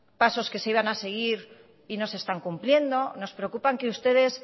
pasos que se iban a seguir y no se están cumpliendo nos preocupan que ustedes